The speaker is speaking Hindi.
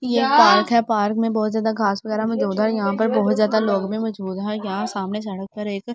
ये पार्क है पार्क में बहुत ज्यादा घास वगैरा मौजूद है यहां पर बहुत ज्यादा लोग भी मौजूद हैं यहां सामने सड़क पर एक।